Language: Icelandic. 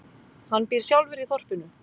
Hann býr sjálfur í þorpinu.